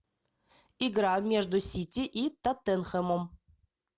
игра между сити и тоттенхэмом